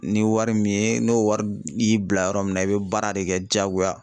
Ni wari min ye n'o wari y'i bila yɔrɔ min na i bɛ baara de kɛ jaagoya.